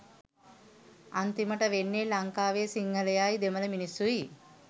අන්තිමට වෙන්නේ ලංකාවේ සිංහලයොයි දෙමල මිනිස්සුයි